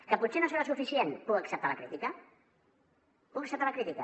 que potser no serà suficient puc acceptar la crítica puc acceptar la crítica